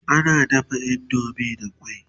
ana dafa indomie da kwai